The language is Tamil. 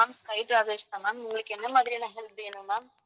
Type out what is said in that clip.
sky travels தான் ma'am உங்களுக்கு என்ன மாதிரியான help வேணும் ma'am